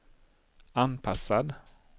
anpassad